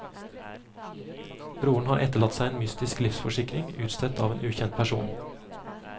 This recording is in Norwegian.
Broren har etterlatt seg en mystisk livsforsikring, utstedt til en ukjent person.